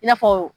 I n'a fɔ